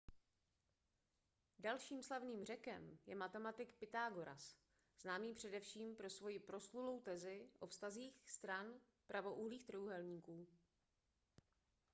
dalším slavným řekem je matematik pythagoras známý především pro svoji proslulou tezi o vztazích stran pravoúhlých trojúhelníků